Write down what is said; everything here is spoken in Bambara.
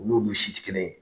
U n'olu si tɛ si tɛ kelen ye